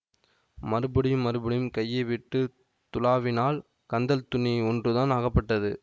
மறுபடியும் மறுபடியும் கையை விட்டு துழாவினாள் கந்தல் துணி ஒன்றுதான் ஆகப்பட்டது